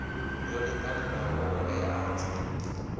yo linganelaho ya ṱhoḓea dza